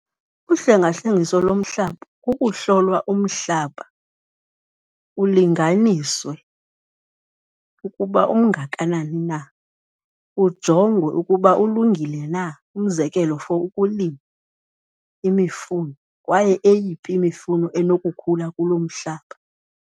Uhlengahlengiso lomhlaba kukuhlolwa umhlaba ulinganiswe ukuba ungakanani na, ujongwe ukuba ulungile na, umzekelo for ukulima imifuno kwaye eyiphi imifuno enokukhula kulo mhlaba.